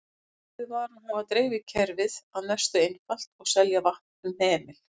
Ákveðið var að hafa dreifikerfið að mestu einfalt og selja vatn um hemil.